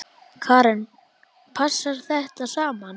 Karen: Passar þetta saman?